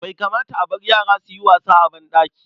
Bai kamata a bar yara su yi wasa a banɗaki.